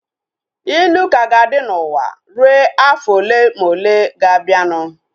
Ilu ka ga-adị n'ụwa rue afọ ole ma ole ga-abianu